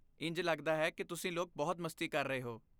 ਇੰਝ ਲੱਗਦਾ ਹੈ ਕਿ ਤੁਸੀਂ ਲੋਕ ਬਹੁਤ ਮਸਤੀ ਕਰ ਰਹੇ ਹੋ।